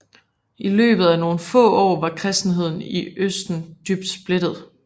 I løbet af nogle få år var kristenheden i østen dybt splittet